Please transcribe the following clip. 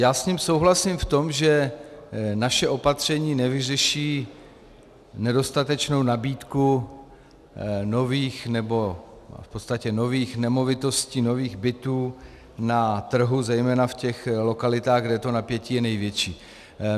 Já s ním souhlasím v tom, že naše opatření nevyřeší nedostatečnou nabídku nových, nebo v podstatě nových nemovitostí, nových bytů na trhu, zejména v těch lokalitách, kde to napětí je největší.